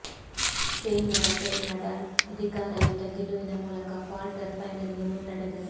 ಸ್ಪೇನ್ನ Rafael Nadal ಅಧಿಕಾರಯುತ ಗೆಲುವಿನ ಮೂಲಕ ಕ್ವಾರ್ಟರ್ ಫೈನಲ್ಗೆ ಮುನ್ನಡೆದರು